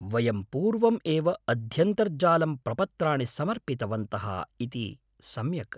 वयं पूर्वम् एव अध्यन्तर्जालं प्रपत्राणि समर्पितवन्तः इति सम्यक्।